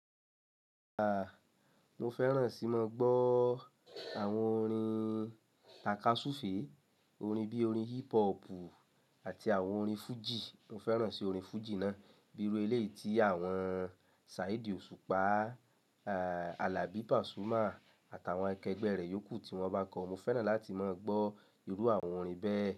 Aa, mo fẹ́ràn sí moo gbọ́ àwọn orin takasufe, orin bíi orin hip hoppu àti àwọn orin fújì, mo fẹ́ ràn sí orin fújì náà bíi irú eléyi ti àwọn Saheedi Osupa, aa Alabi Pasuma aka àwọn akẹgbẹ́ ree yókù ti wọ́n bá ko, mo fẹ́ràn láti moo gbọ́ irú àwọn orin bẹ́ẹ̀.